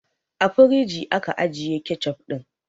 A firigi aka ajiye kecof ɗin